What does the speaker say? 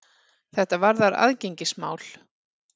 Þetta varðar aðgengismál.